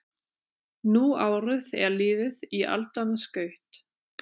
Nú árið er liðið í aldanna skaut